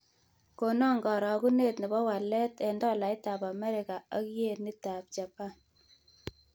Konan karogunet ne po walet eng' tolaitap Amerika ak yenitap Japan